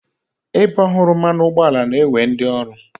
Ebe ọhụrụ mmanụ ụgbọala na-ewe ndị ọrụ.